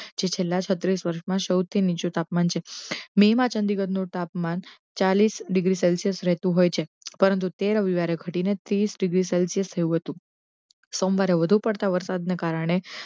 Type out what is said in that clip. જે છેલ્લા છત્રીસ વષૅ મા સોથી નીચુ તાપમાન છે, મે મા ચંદીગડ નુ તાપમાન ચાલીસ ડિગ્રી સેલ્શીયસ રહેતુ હોય છે પરંતુ તે રવીવારે હટીને તીસ ડિગ્રી સેલ્શીયસ થયુ હતુ, સોમવારે વધુ પડતા વરસાદ ને કારણે